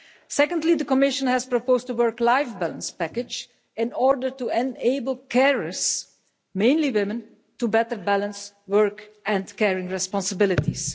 Secondly, the Commission has proposed a work life balance package in order to enable carers mainly women to better balance work and caring responsibilities.